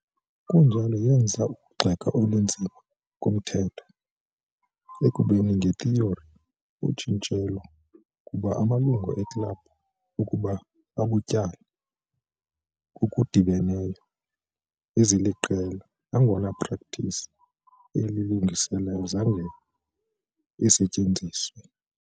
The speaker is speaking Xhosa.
kunjalo, yenza ukugxeka elinzima komthetho, ekubeni ngethiyori, utshintshelo ukuba amalungu eklabhu ukuba ubutyala ngokudibeneyo eziliqela, nangona practice, eli lungiselelo zange isetyenziswe.